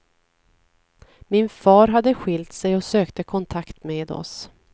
Min far hade skilt sig och sökte kontakt med oss.